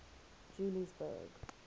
juliesburg